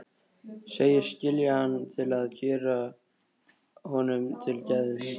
Segist skilja hann til að gera honum til geðs.